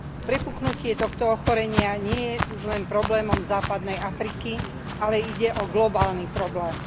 Prepuknutie tohto ochorenia nie je už len problémom Západnej Afriky, ale ide globálny problém.